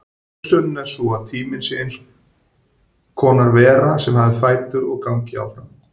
Hugsunin er sú að tíminn sé eins konar vera sem hafi fætur og gangi áfram.